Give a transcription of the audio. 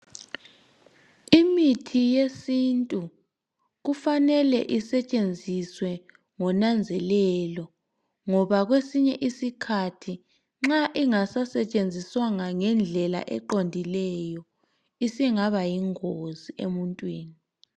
Imithi yesiNtu kufanele isetshenziswe ngonanzelelo ngoba kwesinye isikhathi nxa ingasasetshenziswanga ngendlela eqondileyo isingaba yingozi emuntwini.